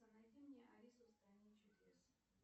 найди мне алису в стране чудес